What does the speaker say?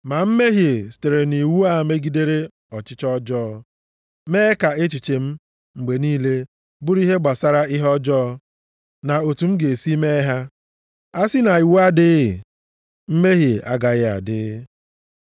Ma mmehie sitere nʼiwu a megidere ọchịchọ ọjọọ, mee ka echiche m mgbe niile bụrụ ihe gbasara ihe ọjọọ, na otu m ga-esi mee ha. A sị na iwu adịghị, mmehie agaraghị adị.